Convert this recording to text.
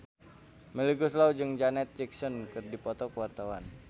Melly Goeslaw jeung Janet Jackson keur dipoto ku wartawan